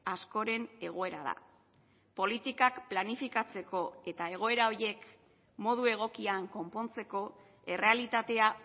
askoren egoera da politikak planifikatzeko eta egoera horiek modu egokian konpontzeko errealitatea